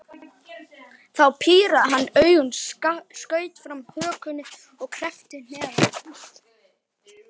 Þá pírði hann augun, skaut fram hökunni og kreppti hnefana.